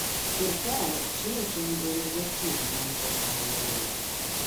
Sirkal chiwo chenro ne jotim nonro mag lowo.